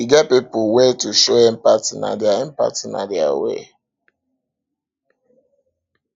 e get pipu wey to show empathy na their empathy na their way